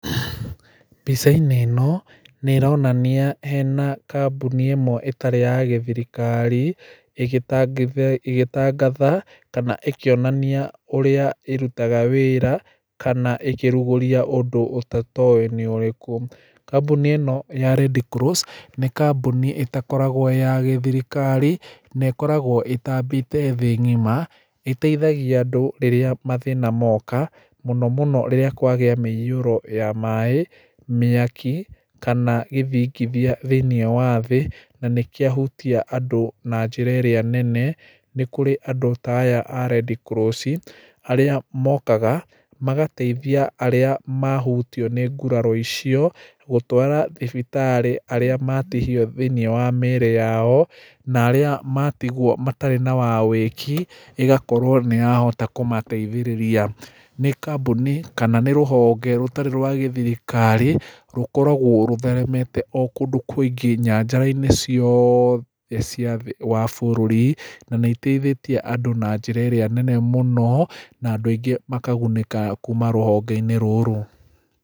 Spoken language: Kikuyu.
Mbica-inĩ ĩno nĩ ĩronania hena kambuni ĩmwe ĩtarĩ ya gĩthirikari ĩgitangatha kana ĩkĩonania ũrĩa ĩrutaga wĩra kana ĩkĩrugũria ũndũ ũtoĩ nĩ ũrĩkũ. Kambuni ĩno ya Red Cross nĩ kambuni ĩtakoragwo ĩ ya gĩthirikari na ĩkoragwo ĩtambĩte thĩĩ ng'ima ĩteithagia andũ rĩrĩa mathĩna moka mũno mũno rĩrĩa kwagĩa mĩĩhũro ya maĩ, mĩaki kana gĩthingithia thĩĩnĩe wa thĩĩ na nĩkĩahutia andũ na njĩra ĩrĩa nene nĩkũrĩ andũ ta aya a Red Cross arĩa mokaga magateithia arĩa mahutĩo nĩ nguraro icio gũtwara thibitarĩ arĩa matihio thĩĩnĩe wa mĩĩri yao na arĩa matigwo matarĩ na wa wĩki ĩgakorwo nĩyahota kũmateithĩrĩria nĩ kambuni kana nĩ rũhonge rũtarĩ rwa gĩthirikari rũkoragwo rũtheremete o kũndũ kũingĩ , nynjara-inĩ ciothe cia thĩĩ wa bũrũri na nĩ iteithĩtie andũ na njĩra ĩrĩa nene mũno na andũ aingĩ makagunĩka kuma rũhonge-inĩ rũrũ.